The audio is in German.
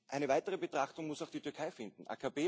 Eine weitere Betrachtung muss auch die Türkei finden.